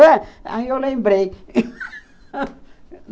Aí eu lembrei